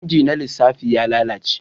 Inji na lissafi ya lalace